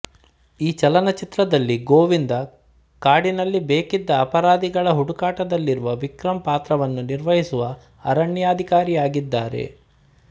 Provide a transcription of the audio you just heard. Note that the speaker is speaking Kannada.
ಈ ಚಲನಚಿತ್ರದಲ್ಲಿ ಗೋವಿಂದಾ ಕಾಡಿನಲ್ಲಿ ಬೇಕಿದ್ದ ಅಪರಾಧಿಗಳ ಹುಡುಕಾಟದಲ್ಲಿರುವ ವಿಕ್ರಮ್ ಪಾತ್ರವನ್ನು ನಿರ್ವಹಿಸುವ ಅರಣ್ಯಾಧಿಕಾರಿಯಾಗಿದ್ದಾರೆ